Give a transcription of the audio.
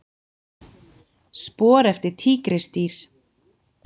Spor eftir tígrisdýr.